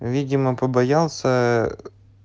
видимо побоялся